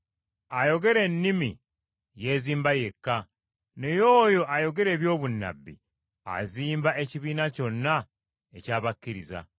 Ayogera ennimi yeezimba yekka, naye oyo ayogera eby’obunnabbi azimba ekibiina kyonna eky’abakkiriza.